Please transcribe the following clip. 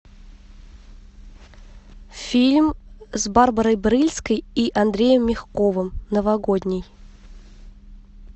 фильм с барбарой брыльской и андреем мягковым новогодний